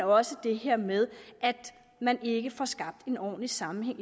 også det her med at man ikke får skabt en ordentlig sammenhæng